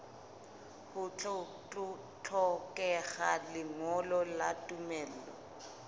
ho hlokeha lengolo la tumello